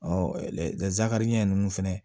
zakari ɲɛ ninnu fɛnɛ